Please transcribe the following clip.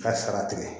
Ka sara tigɛ